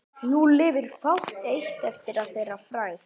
Nú lifir fátt eitt eftir að þeirri frægð.